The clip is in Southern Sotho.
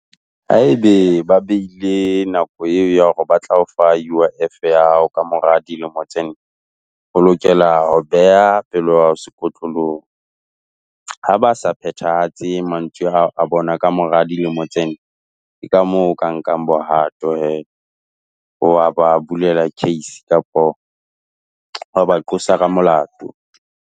Haebe ba beile nako eo ya hore ba tla o fa U_I_F ya hao ka mora dilemo tse nne, o lokela ho beha pelo ya hao sekotlolong. Ha ba sa phethahatse mantswe a bona ka mora dilemo tsena. Ke ka moo o ka nka bohato hee wa ba bulela case kapo wa ba qosa ka molato.